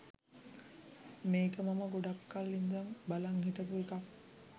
මේක මම ගොඩක් කල් ඉදන් බලාගෙන හිටපු එකක්